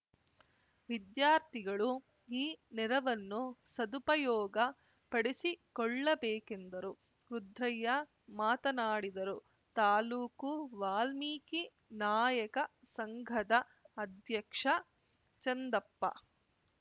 ವಿದ್ಯಾರ್ಥಿಗಳು ಈ ನೆರವನ್ನು ಸದುಪಯೋಗಪಡಿಸಿಕೊಳ್ಳಬೇಕೆಂದರು ರುದ್ರಯ್ಯ ಮಾತನಾಡಿದರು ತಾಲೂಕು ವಾಲ್ಮೀಕಿ ನಾಯಕ ಸಂಘದ ಅಧ್ಯಕ್ಷ ಚಂದಪ್ಪ